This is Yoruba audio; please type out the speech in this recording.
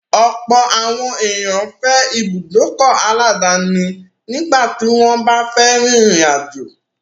Ọ̀pọ̀ àwọn ènìyàn fẹ́ ìbùdókọ̀ aláàdáni nígbà tí wọ́n bá fẹ́ rin ìrìn àjò.